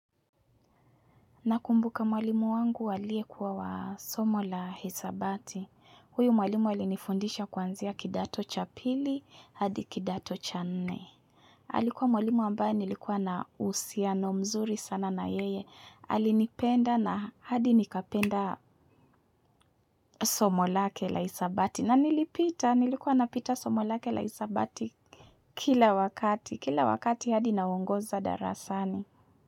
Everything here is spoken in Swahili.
Nakumbuka mwalimu wangu walie kuwa wa somo la hisabati. Huyo mwalimu alinifundisha kwanzia kidato cha pili, hadi kidato cha nne. Alikuwa mwalimu ambaye nilikuwa na uhusiano mzuri sana na yeye. Alinipenda na hadi nikapenda somo lake la hisabati. Na nilipita, nilikuwa napita somo lake la hisabati kila wakati. Kila wakati hadi naongoza darasani.